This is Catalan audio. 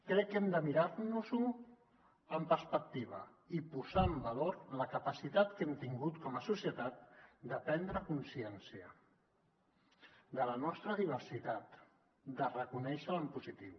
crec que hem de mirar nos ho amb perspectiva i posar en valor la capacitat que hem tingut com a societat de prendre consciència de la nostra diversitat de reconèixer la en positiu